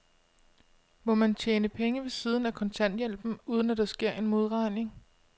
Må man tjene penge ved siden af kontanthjælpen, uden at der sker en modregning?